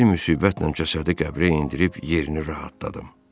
Bir müsibətlə cəsədi qəbrə endirib yerini rahatladım.